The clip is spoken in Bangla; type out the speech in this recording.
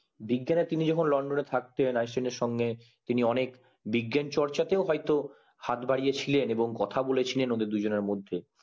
তিনি যখন লন্ডন এ থাকতেন তিনি অনেক বিজ্ঞান চর্চাতে হয়তো হাত বাড়িয়ে ছিলেন এবং কথা বলেছিলেন ওদের দুজনের মধ্যে